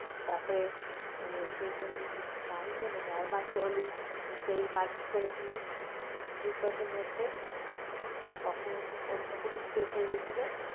তার পরে season nine মনে হয় রেহমান কলি মারপিট্ করেছিল big boss এর মধ্যে তখন ওর তো police case হয়ে গিয়েছিল